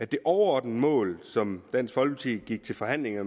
det overordnede mål som dansk folkeparti gik til forhandlinger